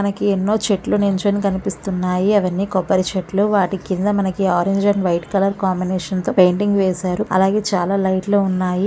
మనకి ఎన్నో చెట్లు నుంచొని కనిపిస్తున్నాయి అవి అన్నీ కొబ్బరి చెట్లు వాటికీ కింద మనకి orange and white colour combination తో పెయింటింగ్ వేసారు అలాగే చాలా లైట్ లు ఉన్నాయి.